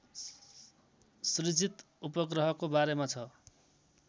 सृजित उपग्रहको बारेमा छ